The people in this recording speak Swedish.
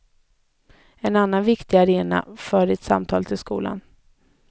En annan viktig arena för det samtalet är skolan.